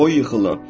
Qoy yıxılım.